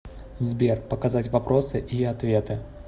сбер показать вопросы и ответы